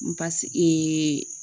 Basigi .